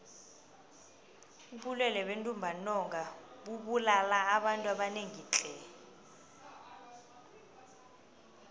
ubulwele bentumbantonga bubulala abantu abanengi tle